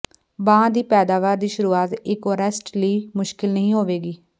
ਬਾਂਹ ਦੀ ਪੈਦਾਵਾਰ ਵੀ ਸ਼ੁਰੂਆਤੀ ਏਕੁਆਰਿਸਟ ਲਈ ਮੁਸ਼ਕਲ ਨਹੀਂ ਹੋਵੇਗੀ